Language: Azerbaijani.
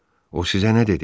O sizə nə dedi?